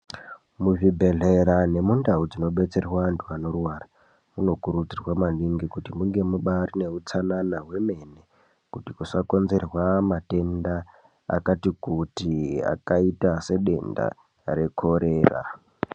Muzvibhedlera nemundau dzinobetserwa vantu anorwara munokurudzirwa maningi kuti munge mubari neutsanana hwemene kuti kusakonzerwa matenda akati kuti akaita sedenda rekorera.